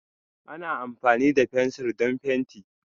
Ana amfani da fensir don fenti.